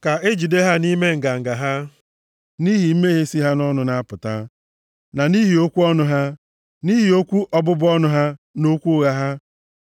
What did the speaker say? Ka e jide ha nʼime nganga ha, nʼihi mmehie si ha nʼọnụ na-apụta, na nʼihi okwu ọnụ ha. Nʼihi okwu ọbụbụ ọnụ ha na okwu ụgha ha,